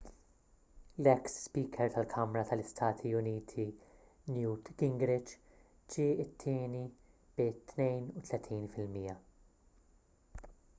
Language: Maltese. l-eks speaker tal-kamra tal-istati uniti newt gingrich ġie t-tieni bi 32 fil-mija